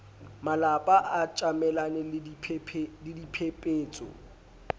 malapa a tjamelane le diphepetso